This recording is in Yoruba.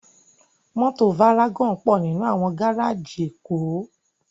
Mòtó várágòn pò ninú áwòn gáráji Ekó